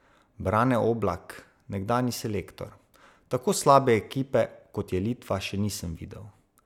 Brane Oblak, nekdanji selektor: "Tako slabe ekipe, kot je Litva, še nisem videl.